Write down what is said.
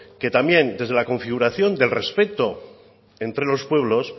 que también desde la configuración del respeto entre los pueblos